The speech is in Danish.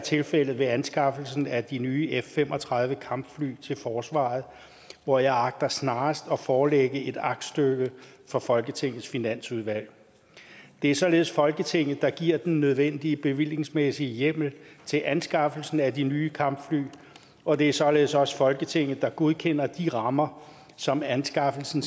tilfældet ved anskaffelsen af de nye f fem og tredive kampfly til forsvaret hvor jeg agter snarest at forelægge et aktstykke for folketingets finansudvalg det er således folketinget der giver den nødvendige bevillingsmæssige hjemmel til anskaffelsen af de nye kampfly og det er således også folketinget der godkender de rammer som anskaffelsen